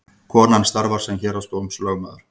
Konan starfar sem héraðsdómslögmaður